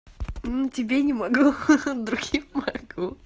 ну тебе не могу другим могу